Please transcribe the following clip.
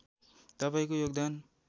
तपाईँको योगदान